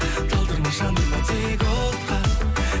талдырма жандырма тек отқа